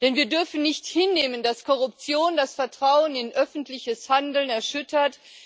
Denn wir dürfen nicht hinnehmen, dass Korruption das Vertrauen in öffentliches Handeln erschüttert.